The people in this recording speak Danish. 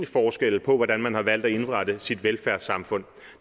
forskelle på hvordan man har valgt at indrette sit velfærdssamfund